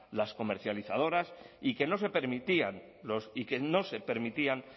las comercializadoras y que no se permitían